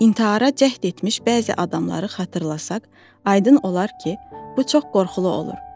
İntihara cəhd etmiş bəzi adamları xatırlasaq, aydın olar ki, bu çox qorxulu olur.